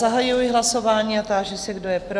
Zahajuji hlasování a ptám se, kdo je pro?